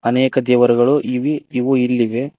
ಅನೇಕ ದೇವರುಗಳು ಇವಿ ಇವು ಇಲ್ಲಿವೆ.